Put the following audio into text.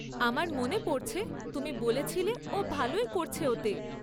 আমার মনে পড়ছে তুমি বলেছিলে ও ভালোই করছে ওতে।